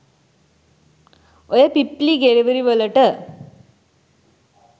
ඔය පිප්ප්ලි ගෙරවිලි වලට